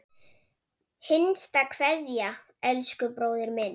HINSTA KVEÐJA Elsku bróðir minn.